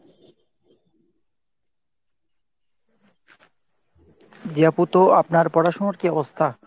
জি আপু তো আপনার পড়াশুনার কী অবস্থা?